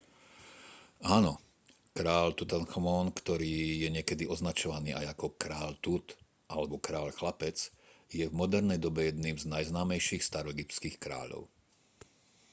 áno kráľ tutanchamón ktorý je niekedy označovaný aj ako kráľ tut alebo kráľ chlapec je v modernej dobe jedným z najznámejších staroegyptských kráľov